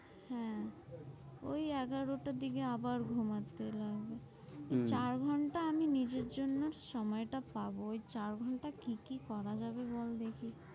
হ্যাঁ, ওই এগারোটার দিকে আবার ঘুমাতে লাগে, চার ঘন্টা আমি নিজের জন্য সময় টা পাব ওই চার ঘন্টা কি কি করা যাবে বল দেখি।